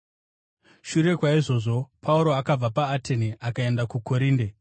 Shure kwaizvozvo, Pauro akabva paAtene akaenda kuKorinde.